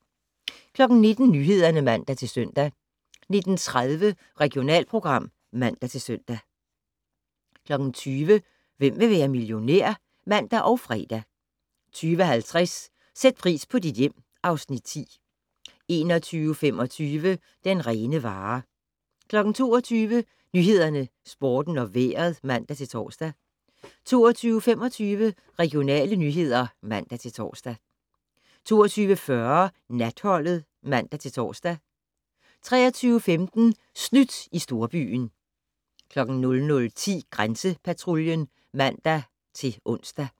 19:00: Nyhederne (man-søn) 19:30: Regionalprogram (man-søn) 20:00: Hvem vil være millionær? (man og fre) 20:50: Sæt pris på dit hjem (Afs. 10) 21:25: Den rene vare 22:00: Nyhederne, Sporten og Vejret (man-tor) 22:25: Regionale nyheder (man-tor) 22:40: Natholdet (man-tor) 23:15: Snydt i storbyen 00:10: Grænsepatruljen (man-ons)